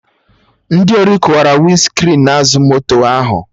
Ndị ori kụwara Winscrin azụ moto ahụ